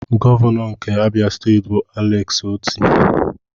Gọvanọ nke Abịa steeti bụ Alex Otti.